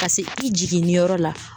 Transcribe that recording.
Ka se i jiginni yɔrɔ la.